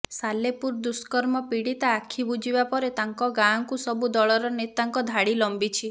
ସାଲେପୁର ଦୁଷ୍କର୍ମ ପୀଡ଼ିତା ଆଖି ବୁଜିବା ପରେ ତାଙ୍କ ଗାଁକୁ ସବୁ ଦଳର ନେତାଙ୍କ ଧାଡ଼ି ଲମ୍ବିଛି